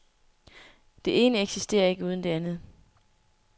Det ene eksisterer ikke uden det andet.